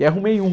E arrumei um.